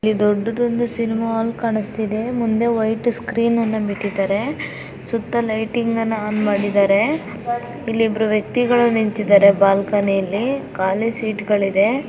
ಈ ದೊಡ್ಡದೊಂದು cinema hall ಕಾಣುಸ್ತಿದೆ ಮುಂದೆ ವೈಟ್ ಸ್ಕ್ರೀನ್ ಅನ್ನ ಬಿಟ್ಟಿದ್ದಾರೆ ಸುತ್ತ ಲೈಟಿಂಗ್ ಅನ್ನ ಆನ್ ಮಾಡಿದಾರೆ ಇಲ್ಲಿ ಇಬ್ರೂ ವ್ಯಕ್ತಿಗಳು ನಿಂತ್ತಿದ್ದಾರೆ ಬಾಲ್ಕನಿಯಲ್ಲಿ ಕಾಲಿ ಸೀಟಗಳಿದೆ .